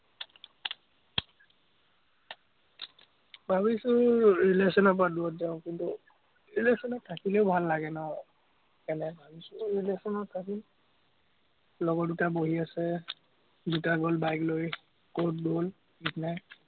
ভাৱিছো relation ৰপৰা দুৰত যাঁও, কিন্তু, relation ত থাকিলেও ভাল লাগে ন, সেইকাৰণে ভাৱিছো relation ত থাকিম, লগৰ দুটা বহী আছে, দুটা গল bike লৈ, কত গ'ল ঠিক নায়।